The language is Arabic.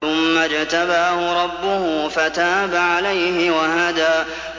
ثُمَّ اجْتَبَاهُ رَبُّهُ فَتَابَ عَلَيْهِ وَهَدَىٰ